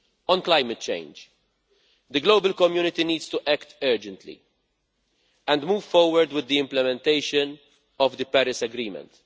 On climate change, the global community needs to act urgently and move forward with the implementation of the Paris Agreement.